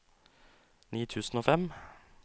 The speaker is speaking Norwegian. ni tusen og fem